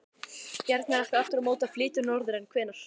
Bjarni ætlar aftur á móti að flytja norður, en hvenær?